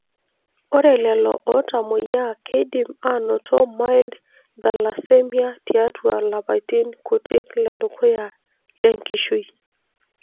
Ore lelo otamoyia keidim anoto mild thalassemia tiatua lapaitin kuti ledukuya lenkishui.